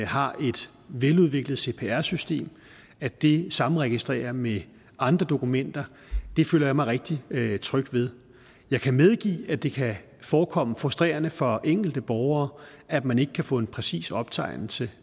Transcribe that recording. har et veludviklet cpr system og at det samregistrerer med andre dokumenter føler jeg mig rigtig tryg ved jeg kan medgive at det kan forekomme frustrerende for enkelte borgere at man ikke kan få en præcis optegnelse